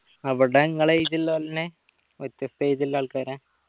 അവടെ ഇങ്ങള age ഇൽ ഇല്ലൊലെന്നെ മറ്റെ stage ളെ ആൾക്കാര?